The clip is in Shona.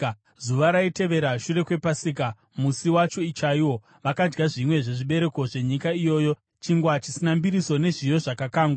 Zuva raitevera shure kwePasika, musi wacho chaiwo, vakadya zvimwe zvezvibereko zvenyika iyoyo: chingwa chisina mbiriso nezviyo zvakakangwa.